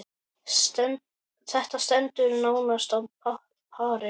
Þetta stendur nánast á pari.